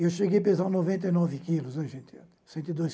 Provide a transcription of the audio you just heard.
Eu cheguei a pesar noventa e nove quilos o gente cento e dois